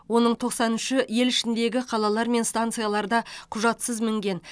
оның тоқсан үші ел ішіндегі қалалар мен станцияларда құжатсыз мінген